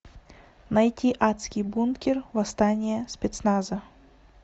найти адский бункер восстание спецназа